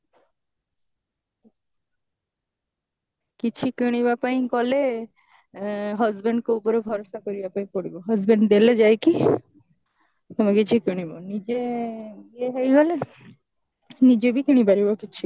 କିଛି କିଣିବା ପାଇଁ ଗଲେ ଆଣ husband ଙ୍କ ଉପରେ ଭରସା କରିବା ପାଇଁ ପଡିବ husband ଦେଲେ ଯାଇକି କଣ କିଛି କିଣିବ ନିଜେ ଇଏ ହେଇଗଲେ ନିଜେ ବି କିଣି ପାରିବ କିଛି